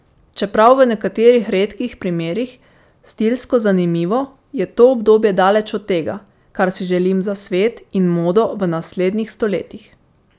Čeprav v nekaterih redkih primerih stilsko zanimivo, je to obdobje daleč od tega, kar si želim za svet in modo v naslednjih stoletjih.